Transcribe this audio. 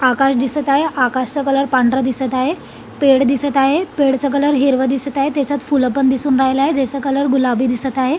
आकाश दिसत आहे आकाशच कलर पांढरा दिसत आहे पेड दिसत आहे पेडचा कलर हिरव दिसत आहे त्याच्यात फूल पण दिसून राहील आहे ज्याच कलर गुलबी दिसत आहे.